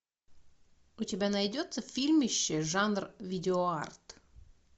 у тебя найдется фильмище жанр видеоарт